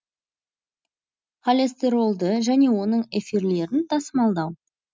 холестеролды және оның эфирлерін тасымалдау